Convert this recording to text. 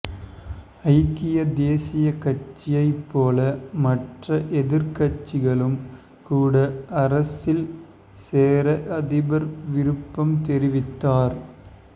ஐக்கிய தேசியக் கட்சியைப் போல மற்ற எதிர்க்கட்சிகளும் கூட அரசில் சேர அதிபர் விருப்பம் தெரிவித்தார்